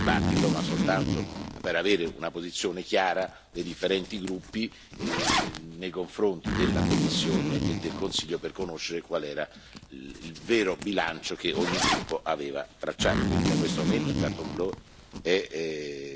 Quindi non c'è nessun tentativo di soffocare la discussione, era soltanto per avere una posizione chiara dei differenti gruppi nei confronti della Commissione e del Consiglio, per conoscere qual era il vero bilancio che ogni gruppo aveva tracciato.